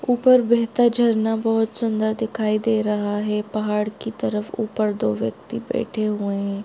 ऊपर बहता झरना बहुत सुन्दर दिखाई दे रहा हैं पहाड़ की तरफ ऊपर दो व्यक्ति बैठे हुए हैं।